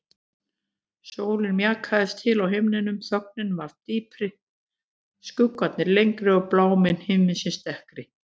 Sólin mjakaðist til á himninum, þögnin varð dýpri, skuggarnir lengri og blámi himinsins dekkri.